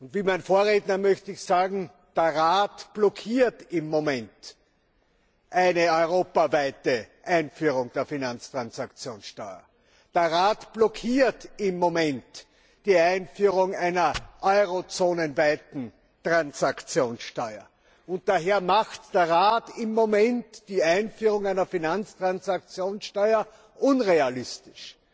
Wie mein Vorredner möchte ich sagen Der Rat blockiert im Moment eine europaweite Einführung der Finanztransaktionssteuer, der Rat blockiert im Moment die Einführung einer eurozonenweiten Transaktionssteuer, und daher macht der Rat im Moment die Einführung einer Finanztransaktionssteuer unrealistisch.